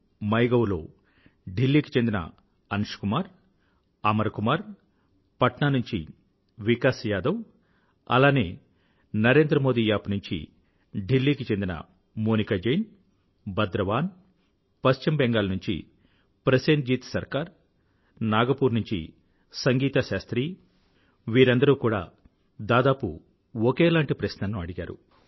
my gov లో ఢిల్లీకి చెందిన అంషు కుమార్ అమర్ కుమార్ పట్నా నుంచి వికాస్ యాదవ్ అలానే నరేంద్రమోదీ యాప్ నుండి ఢిల్లీకి చెందిన మోనికా జైన్ బద్రవాన్ పశ్చిమ బెంగాల్ నుండి ప్రసేన్ జీత్ సర్కార్ నాగ్ పూర్ నుండి సంగీతా శాస్త్రి వీరందరూ కూడా దాదాపు ఒకేలాంటి ప్రశ్న ను అడిగారు